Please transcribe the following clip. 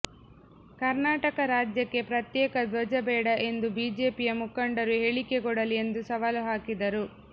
ಕರ್ನಾಟಕ ರಾಜ್ಯಕ್ಕೆ ಪ್ರತ್ಯೇಕ ಧ್ವಜ ಬೇಡ ಎಂದು ಬಿಜೆಪಿಯ ಮುಖಂಡರು ಹೇಳಿಕೆ ಕೊಡಲಿ ಎಂದು ಸವಾಲು ಹಾಕಿದರು